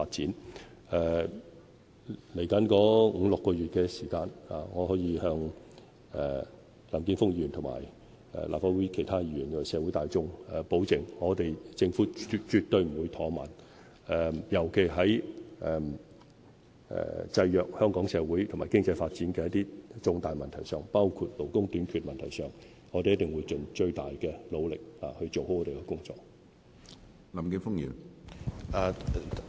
接下來的五六個月時間，我可以向林健鋒議員、立法會其他議員和社會大眾保證，政府絕對不會怠慢，尤其是在制約香港社會和經濟發展的一些重大問題上，包括勞工短缺的問題上，我們一定會盡最大的努力做好我們的工作。